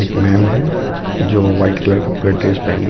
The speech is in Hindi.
एक मेम हैं जो वाइट कलर का पूरा ड्रेस पेहनी है.